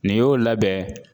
Nin y'o labɛn